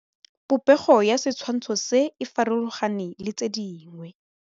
Popêgo ya setshwantshô se, e farologane le tse dingwe.